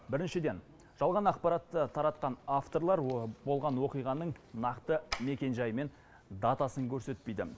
біріншіден жалған ақпаратты таратқан авторлар болған оқиғаның нақты мекен жайы мен датасын көрсетпейді